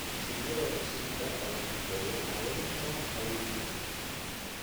Mashiinnada wax-shiidka ayaa fududeeya habaynta hadhuudhka.